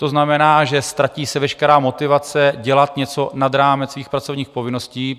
To znamená, že se ztratí veškerá motivace dělat něco nad rámec svých pracovních povinností.